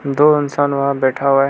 दो इंसान वहां बैठा हुआ है।